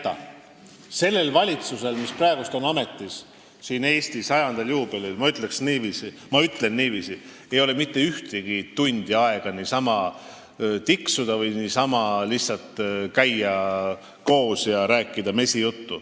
Ma ütlen niiviisi, et sellel valitsusel, mis praegu on ametis, Eesti juubeliaastal, ei ole mitte ühtegi tundi aega niisama tiksuda või lihtsalt koos käia ja mesijuttu rääkida.